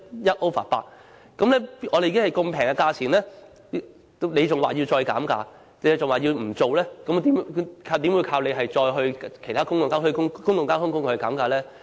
如此便宜的價錢，他們還要求再減價，還說不應做，又怎樣依靠他們要求其他公共交通工具減價呢？